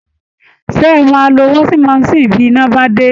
Ṣé ẹ máa lo washing machine bí iná bá dé?